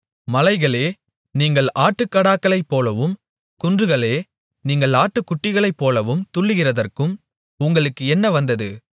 மலைகளே நீங்கள் ஆட்டுக்கடாக்களைப்போலவும் குன்றுகளே நீங்கள் ஆட்டுக்குட்டிகளைப்போலவும் துள்ளுகிறதற்கும் உங்களுக்கு என்ன வந்தது